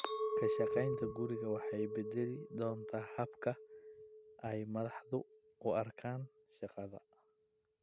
Ka shaqaynta guriga waxa ay bedeli doontaa habka ay madaxdu u arkaan shaqada.